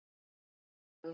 Kæri Dagur.